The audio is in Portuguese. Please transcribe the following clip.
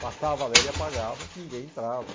Passava, ele apagava, ninguém entrava.